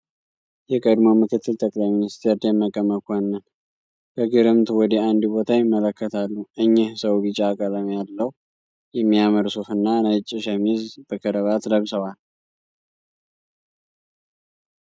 የቀድሞ ምክትል ጠቅላይ ሚንስቴር ደመቀ መኮነን በግርምት ወደ አንድ ቦታ ይመለከታሉ። እኚህ ሰው ቢጫ ቀለም ያለው የሚያምር ሱፍ እና ነጭ ሸሚዝ በከረባት ለብሰዋል።